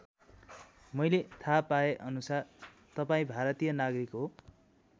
मैले थाहा पाए अनुसार तपाईँ भारतीय नागरिक हो।